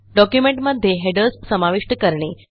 डॉक्युमेंटमध्ये हेडर्स समाविष्ट करणे